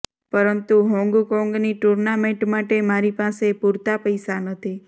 પરંતુ હોંગકોંગની ટુર્નામેન્ટ માટે મારી પાસે પૂરતા પૈસા નથી